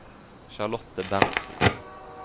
Charlotte Berntsen